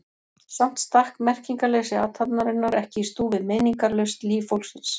Samt stakk merkingarleysi athafnarinnar ekki í stúf við meiningarlaust líf fólksins.